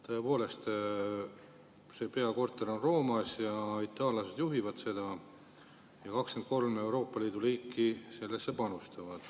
Tõepoolest, see peakorter on Roomas, itaallased juhivad seda ja 23 Euroopa Liidu riiki sellesse panustavad.